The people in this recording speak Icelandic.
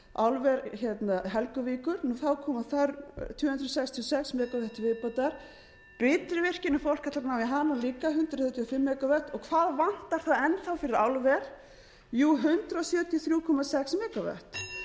álver helguvíkur koma tvö hundruð sextíu og sex megavatt til viðbótar bitruvirkjun ef fólk ætlar að ná í hana líka hundrað þrjátíu og fimm megavatt hvað vantar svo enn fyrir álver jú hundrað sjötíu og þrjú komma sex megavatt ef stækkun